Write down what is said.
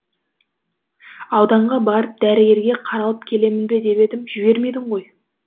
ауданға барып дәрігерге қаралып келемін бе деп едім жібермедің ғой